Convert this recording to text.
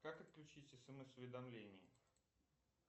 как отключить смс уведомления